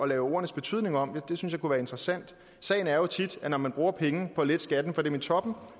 lave ordenes betydning om det synes jeg kunne være interessant sagen er jo tit at når man bruger penge på at lette skatten for dem i toppen